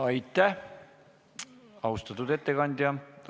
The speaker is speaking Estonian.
Aitäh, austatud ettekandja!